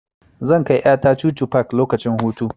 Zan kai ƴa ta chuchu park lokacin hutu.